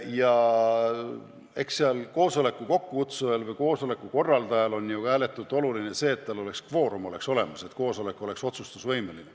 Eks koosoleku kokkukutsujale või korraldajale on ääretult oluline ka see, et kvoorum oleks olemas, et koosolek oleks otsustusvõimeline.